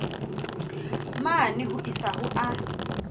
mane ho isa ho a